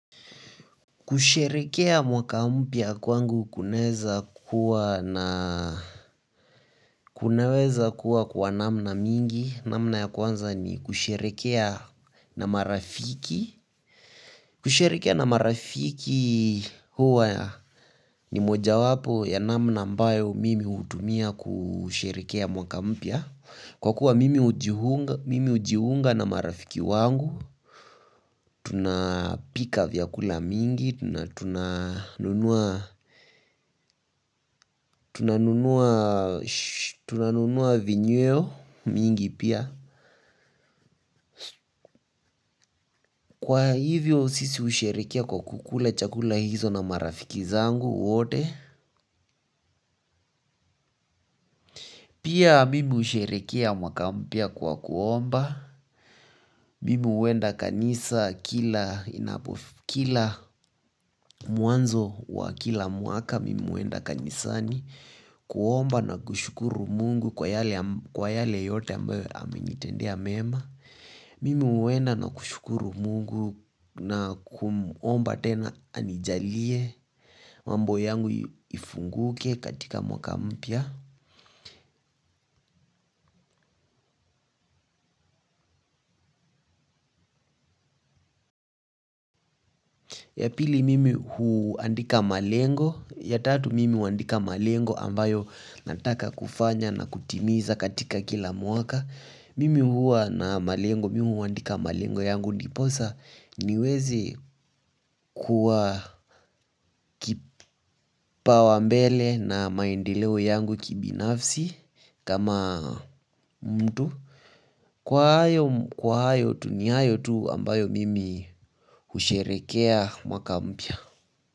Kusherehekea mwaka mpya kwangu kunaweza kuwa na kunaweza kuwa kwa namna mingi. Namna ya kwanza ni kusherehekea na marafiki. Kusherehekea na marafiki huwa ni mojawapo ya namna mbayo mimi hutumia kusherekea mwaka mpya. Kwa kuwa mimi hujiunga na marafiki wangu, tunapika vyakula mingi, tunanunua vinyweo mingi pia, kwa hivyo sisi husherehekea kwa kukula chakula hizo na marafiki zangu wote. Pia mimi husherehekea mwaka mpya kwa kuomba, mimi huenda kanisa kila inapofi kila mwanzo wa kila mwaka mimi huenda kanisa ni. Kuomba na kushukuru mungu kwa yale yote ambayo amenitendea mema, mimi huenda na kushukuru mungu na kumuomba tena anijalie, mambo yangu ifunguke katika mwaka mpya, ya pili mimi huandika malengo, ya tatu mimi huandika malengo ambayo nataka kufanya na kutimiza katika kila mwaka. Mimi huwa na malengo, mimi huandika malengo yangu ndiposa niweze kuwa kipawa mbele na maendeleo yangu kibinafsi, kama mtu. Kwa hayo tu. Ni hayo tu ambayo mimi husherekea mwaka mpya.